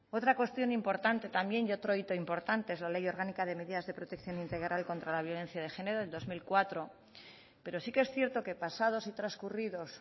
otra cuestión importante también y otro hito importante es la ley orgánica de medidas de protección integral contra la violencia de género del dos mil cuatro pero sí que es cierto que pasados y transcurridos